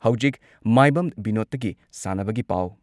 ꯍꯧꯖꯤꯛ ꯃꯥꯏꯕꯝ ꯕꯤꯅꯣꯗꯇꯒꯤ ꯁꯥꯟꯅꯕꯒꯤ ꯄꯥꯎ